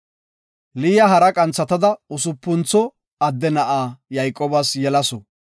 Liya hara qanthatada usupuntho adde na7a Yayqoobas yelasu.